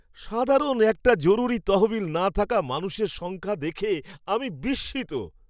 সাধারণ একটা জরুরি তহবিল না থাকা মানুষের সংখ্যা দেখে আমি বিস্মিত!